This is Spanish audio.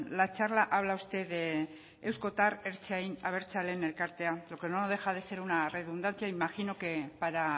la charla habla usted de eusko eta ertzain abertzaleen elkartea lo que no deja de ser una redundancia imagino que para